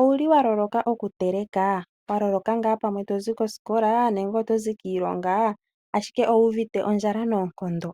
Owuli waloloka okuteleka? Waloloka ngaa pamwe tozi kosikola nenge otozi kiilonga ashike owuuvite ondjala noonkondo.